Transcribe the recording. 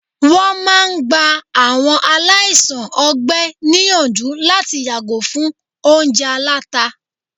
wọn máà ń gbá àwọn aláìsàn ọgbẹ níyànjú láti yàgò fún oúnjẹ àlàtá